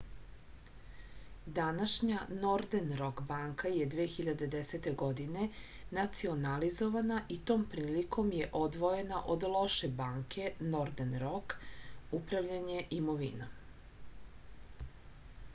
данашња нордерн рок банка је 2010. године национализована и том приликом је одвојена од лоше банке нордерн рок управљање имовином